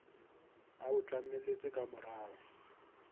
a o tlameletse ka morao